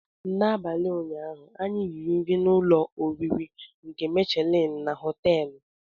N'abalị ụnyaahụ, anyị riri nri na ụlọ oriri nke Michelin na họteelu.